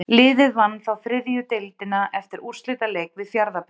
Liðið vann þá þriðju deildina eftir úrslitaleik við Fjarðabyggð.